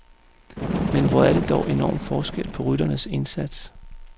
Men hvor er der dog enorm forskel på rytternes indsats.